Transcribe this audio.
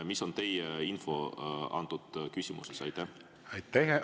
Mis on teie info selles küsimuses?